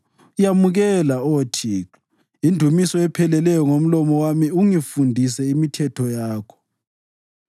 Yamukela, Oh Thixo, indumiso epheleleyo ngomlomo wami, ungifundise imithetho yakho.